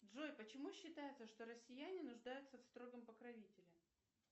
джой почему считается что россияне нуждаются в строгом покровителе